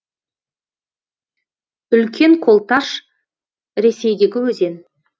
үлкен колташ ресейдегі өзен